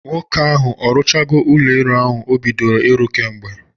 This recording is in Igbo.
Nwoke ahụ ọ rụchago o bidoro ịrụ kemgbe?